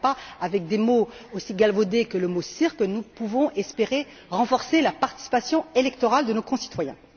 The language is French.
Ce n'est pas avec des mots aussi galvaudés que le mot cirque que nous pouvons espérer renforcer la participation électorale de nos concitoyens!